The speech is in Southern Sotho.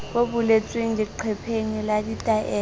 bo boletsweng leqepheng la ditaelo